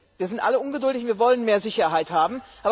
Wir sind alle ungeduldig, wir wollen mehr Sicherheit haben.